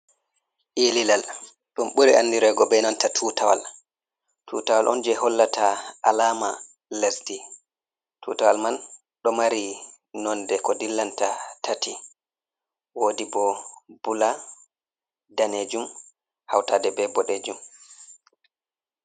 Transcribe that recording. Ililal ɗum ɓuri andirego be nanta tutawal, tutawal on je hollata alama lesdi, tutawal man ɗo mari nonde ko dillanta tati, wodi bo bula, danejum, hautaɗe be boɗejum.